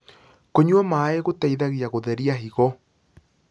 kũnyua maĩ gũteithagia gutherĩa higo